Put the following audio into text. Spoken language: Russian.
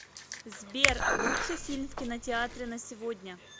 сбер лучший фильм в кинотеатре на сегодня